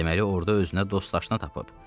Deməli orda özünə dost-laşını tapıb.